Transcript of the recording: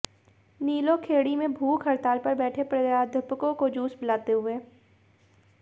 नीलोखेड़ी में भूख हड़ताल पर बैठे प्राध्यापकों को जूस पिलाते हुए